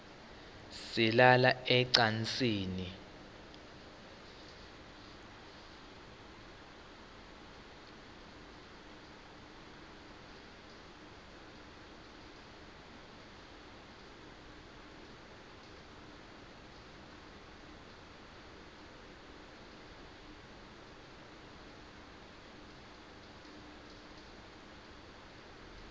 silala ecansini